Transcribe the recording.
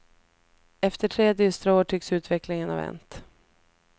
Efter tre dystra år tycks utvecklingen ha vänt.